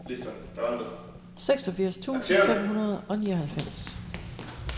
seksogfirs tusind fem hundrede og nioghalvfems